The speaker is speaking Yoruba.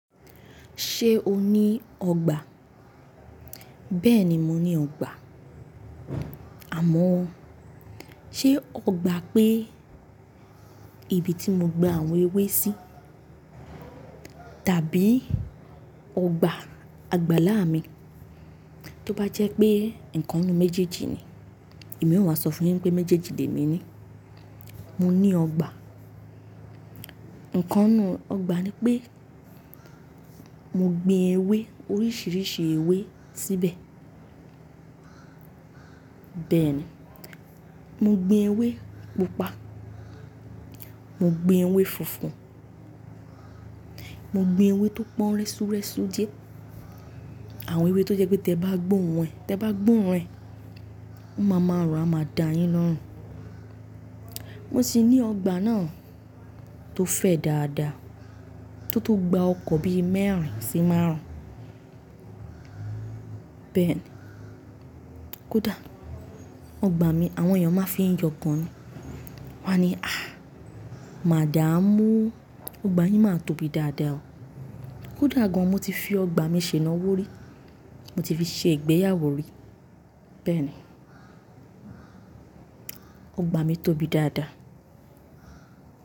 Ṣé o ní ọgbà? Bẹ́ẹ̀ni, mo ní ọgbà. Àmọ́ ṣé ọgbà pé ibi tí mo gba àwọn ewé sí tàbí ọgbà àgbàlá mi? Tí ó bá jẹ́ pé ìkan nínú méjèèjì ni, èmi ó máa sọ fún yín pé méjèèjì lè mí ni. Mo ní ọgbà. Ǹkan inú ọgbà ni pé mo gbin ewé oríṣiríṣi ewé síbẹ̀. Bẹ́ẹ̀ ni, mo gbin ewé pupa, mo gbin ewé funfun, mo gbin ewé tó pọ́n rẹ́súrẹ́sú díẹ̀. Àwọn ewé tó jẹ́ pé tẹ bá gbọ́ orun rẹ̀, tẹ bá gbọ́ òrun rẹ̀, ó máa máa rùn, a máa da yín lọ́run. Wọ́n sì ní ọgbà náà tó fẹ̀ dáadáa, tó tó gba ọkọ̀ bí i mẹ́rin sí márùn-ún. Bẹ́ẹ̀ ni, kódà ọgbà mi àwọn èèyàn máa fi ń yọ gan ni. Wọ́n á ni, "Ah! Màda mú, ọgbà yín máa tóbi dáadáa o." Kódà gan an mo ti fi ọgbà mi ṣe ìnáwó rí, mo ti fi ṣe ìgbéyàwó rí. Bẹ́ẹ̀ ni, ọgbà mi tóbi dáadáa.